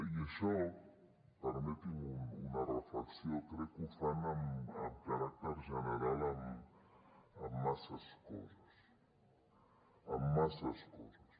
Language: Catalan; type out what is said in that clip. i això permeti’m una reflexió crec que ho fan amb caràcter general en masses coses en masses coses